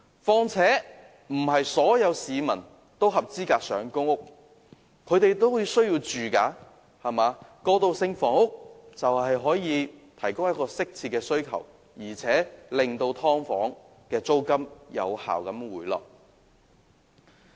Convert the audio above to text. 況且，不是所有市民都符合資格申請公屋，他們也有住屋需求，而提供過渡性房屋正正可以適切地回應他們的需求，並且有效地令"劏房"的租金回落。